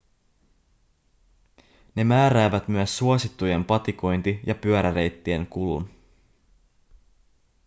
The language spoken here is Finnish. ne määräävät myös suosittujen patikointi- ja pyöräreittien kulun